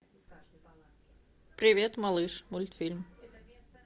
привет малыш мультфильм